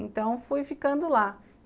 Então, fui ficando lá.